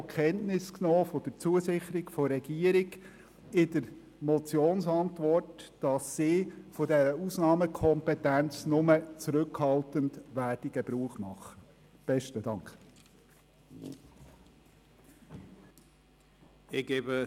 Insbesondere haben wir in der Motionsantwort auch die Zusicherung der Regierung, sie werde von ihrer Ausnahmekompetenz nur zurückhaltend Gebrauch machen, zur Kenntnis genommen.